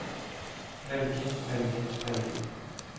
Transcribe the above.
velge velge velge